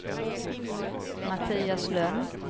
Mattias Lönn